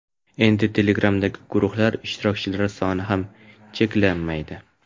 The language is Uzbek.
endi Telegram’dagi guruhlar ishtirokchilari soni ham cheklanmaydi.